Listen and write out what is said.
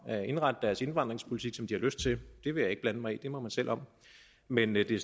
at indrette deres indvandringspolitik som de har lyst til det vil jeg ikke blande mig i det må man selv om men at det